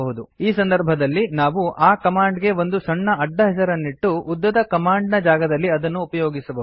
ಈ ಸಂದರ್ಭದಲ್ಲಿ ನಾವು ಆ ಕಮಾಂಡ್ ಗೆ ಒಂದು ಸಣ್ಣ ಅಡ್ಡ ಹೆಸರನ್ನಿಟ್ಟು ಉದ್ದದ ಕಮಾಂಡ್ ನ ಜಾಗದಲ್ಲಿ ಅದನ್ನು ಉಪಯೋಗಿಸಬಹುದು